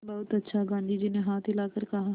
बहुत अच्छा गाँधी जी ने हाथ हिलाकर कहा